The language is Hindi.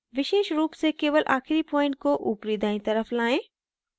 विशेष रूप से केवल आखिरी point को ऊपरी दायीं तरफ लाएं